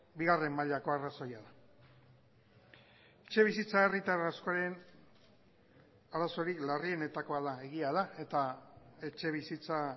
bigarren mailako arrazoia da etxebizitza herritar askoren arazorik larrienetakoa da egia da eta etxebizitza